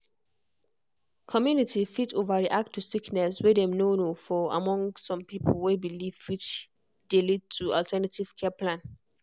community fit overreact to sickness way dem no know for among some pipo way believe which dey lead to alternative care plan